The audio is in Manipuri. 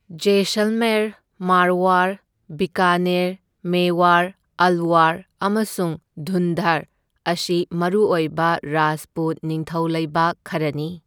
ꯖꯌꯁꯜꯃꯦꯔ, ꯃꯥꯔꯋꯥꯔ, ꯕꯤꯀꯥꯅꯦꯔ, ꯃꯦꯋꯥꯔ, ꯑꯜꯋꯥꯔ ꯑꯃꯁꯨꯡ ꯙꯨꯟꯙꯔ ꯑꯁꯤ ꯃꯔꯨꯑꯣꯏꯕ ꯔꯥꯖꯄꯨꯠ ꯅꯤꯡꯊꯧꯂꯩꯕꯥꯛ ꯈꯔꯅꯤ꯫